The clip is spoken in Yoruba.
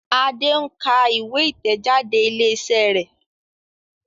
Ade nká ìwé itẹjade ilé iṣẹ rẹ.